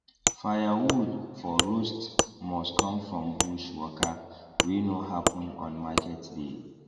firewood for roast must come from bush waka wey no happen on market day